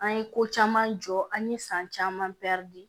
An ye ko caman jɔ an ye san caman di